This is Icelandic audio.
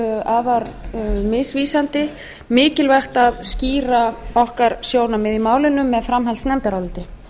væri hér afar misvísandi mikilvægt að skýra okkar sjónarmið í málinu með framhaldsnefndaráliti